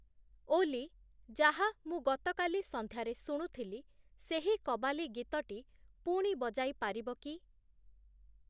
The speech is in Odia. ଓଲ୍ଲୀ, ଯାହା ମୁଁ ଗତକାଲି ସନ୍ଧ୍ୟାରେ ଶୁଣୁଥିଲି, ସେହି କବାଲି ଗୀତଟି ପୁଣି ବଜାଇପାରିବ କି?